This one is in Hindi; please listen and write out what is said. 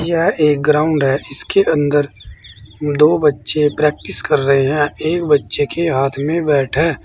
यह एक ग्राउंड है इसके अंदर दो बच्चे प्रैक्टिस कर रहे हैं एक बच्चे के हाथ में बैट है।